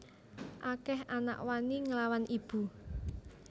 Akeh anak wani nglawan ibu